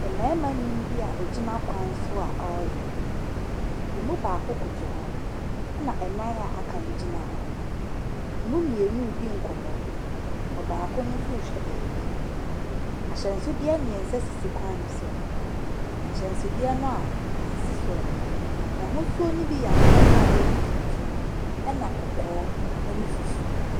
Mmarima nnum bi a wɔgyina kwan so a wɔreyɛ, ɛmu baako koto hɔ na nnan a aka no gyina hɔ, ɛmu mmienu redi nkɔmmɔ, baako no nso rehwɛ beebi, ahyɛnsodeɛ mmiɛnsa sisi kwan ne so, ahyɛnsodeɛ no a ɛsisi soɔ no, n’ahosuo ne bi yɛ akokɔsradeɛ ne tuntum, na kɔkɔɔ ne fufuo.